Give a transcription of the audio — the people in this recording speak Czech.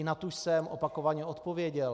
I na tu jsem opakovaně odpověděl.